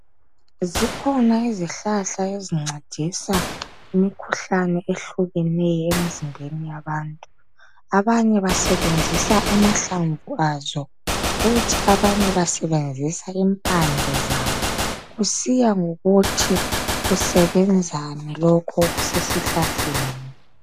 Zikhona izihlahla ezincedisa imikhuhlane ehlukeneyo emizimbeni yabantu. Abanye basebenzisa amahlamvu azo kumbe Impande kusiya ngokuthi kusebenzani lokho okusesihlahleni.